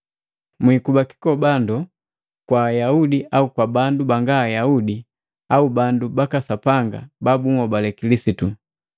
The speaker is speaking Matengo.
Mwikuba kikobando kwa Ayaudi au bandu banga Ayaudi au bandu baka Sapanga babunhobale Kilisitu.